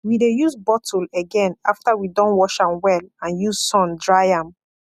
we de use bottle again after we don wash am well and use sun dry am